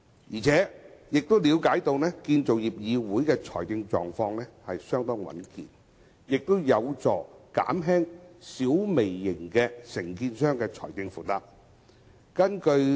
我們亦了解到，由於建造業議會的財政狀況相當穩健，有關建議有助減輕小微型承建商的財政負擔。